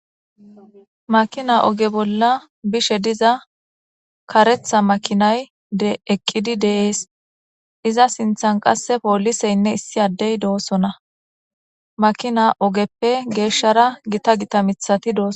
Makina oge bolla bishe diza karetha makinay eqqidi deees iza sinthan qasse pooliseynne issi addey doossona makina ogeppe geeshshara gita gita mithati dooso